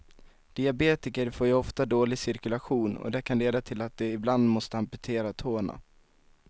Diabetiker får ju ofta dålig cirkulation och det kan leda till att de ibland måste amputera tårna.